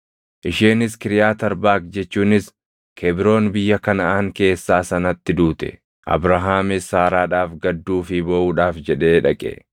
Isheenis Kiriyaati Arbaaq jechuunis Kebroon biyya Kanaʼaan keessaa sanatti duute; Abrahaamis Saaraadhaaf gadduu fi booʼuudhaaf jedhee dhaqe.